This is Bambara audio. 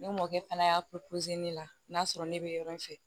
Ne mɔkɛ fana y'a ne la n'a sɔrɔ ne bɛ yɔrɔ in fɛ